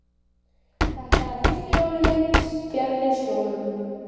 Þetta eru fyrstu jólin mín fjarri Skjólunum.